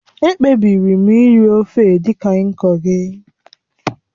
Ekpebiri m iri ofe Edikaikong gị